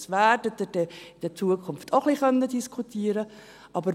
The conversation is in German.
Darüber werden Sie dann in Zukunft auch ein wenig diskutieren können.